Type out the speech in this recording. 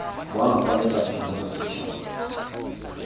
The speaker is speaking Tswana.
bonwa kwa lefapheng la bosetšhaba